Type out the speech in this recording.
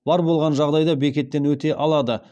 бар болған жағдайда бекеттен өте алады